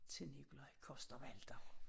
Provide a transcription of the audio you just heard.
Til Nikolaj Coster-Waldau